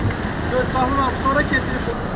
Sən Paşaoğlu, sora keçir sən.